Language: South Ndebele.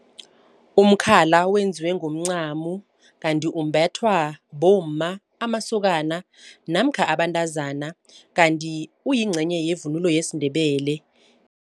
Umkhala wenziwe ngomncamo kanti umbathwa bomma, amasokana namkha abantazana. Kanti uyingcenye yevunulo yesiNdebele.